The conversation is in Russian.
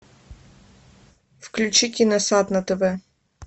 включи киносад на тв